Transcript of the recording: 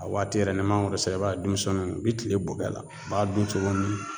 A waati yɛrɛ n'i mangoro sera e b'a ye dumusɛnnu u bi kile bo kɛ la u b'a dun cogo min